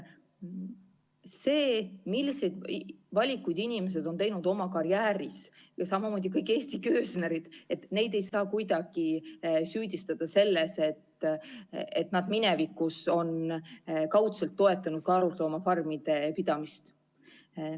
See, milliseid valikuid inimesed on teinud oma karjääris, samamoodi kõik Eesti köösnerid – neid ei saa kuidagi süüdistada selles, et nad minevikus on kaudselt toetanud karusloomafarmide pidamist.